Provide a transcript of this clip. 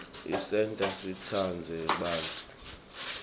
isenta sitsandze bantfu